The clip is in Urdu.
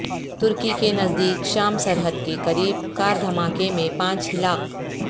ترکی کے نزدیک شام سرحد کے قریب کار دھماکے میں پانچ ہلاک